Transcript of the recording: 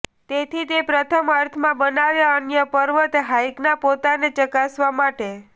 તેથી તે પ્રથમ અર્થમાં બનાવે અન્ય પર્વત હાઇકનાં પોતાને ચકાસવા માટે